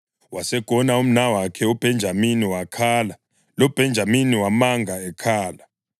Wasegona umnawakhe uBhenjamini, wakhala, loBhenjamini wamanga ekhala.